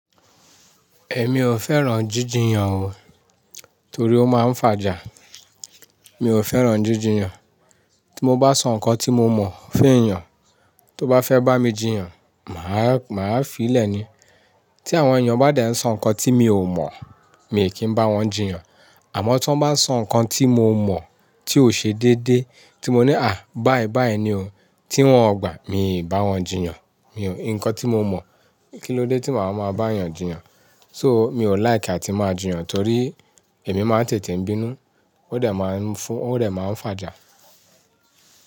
Ẹ̀ mi ò fẹ́ràn jíjìyàn o, torí ó máa ń fàjà. Mi ò fẹ́ràn jíjìyàn. Tí mo bá sọ ǹkan tí mo mọ̀ fún èèyàn, tó bá fẹ́ bá mi jìyàn, mà á, mà á fi í lẹ̀ ni. Tí àwọn èèyàn bá dẹ̀ ń sọ ǹkan tí mi ò mọ̀, mi kì í bá wọn jìyàn. Àmọ́ tí wọ́n bá ń sọ ǹkan tí mo mọ̀, tí ó ṣe déédéé, tí mo ní, "à, báyìí báyìí ni o," tí wọ́n ò gbà, mi ò bá wọn jìyàn. Mi ò, ǹkan tí mo mọ̀, kí ló dé tí màá máa bá èèyàn jìyàn? So, mi ò like àti máa jìyàn torí èmi máa ń tètè bínú, ó dẹ̀ máa ń fún, ó dẹ̀ máa ń fàjà.